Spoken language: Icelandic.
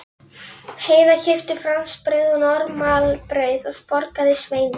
Heiða keypti fransbrauð og normalbrauð og borgaði Sveini.